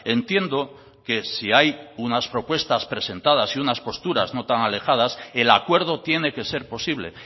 entiendo que si hay unas propuestas presentadas y unas posturas no tan alejadas el acuerdo tiene que ser posible